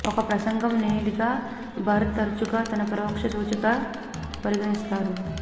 ఒక ప్రసంగం లేనిదిగా బర్ తరచుగా ఒక పరోక్ష సూచికగా పరిగణిస్తారు